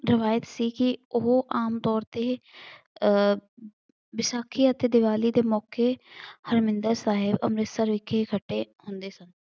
ਰਿਵਾਇਤ ਸੀ ਕੇ ਉਹ ਆਮ ਤੌਰ ਤੇ ਅਹ ਵਿਸਾਖੀ ਅਤੇ ਦੀਵਾਲੀ ਦੇ ਮੌਕੇ ਹਰਮਿੰਦਰ ਸਾਹਿਬ ਅੰਮ੍ਰਿਤਸਰ ਵਿਖੇ ਇਕੱਠੇ ਹੁੰਦੇ ਸਨ।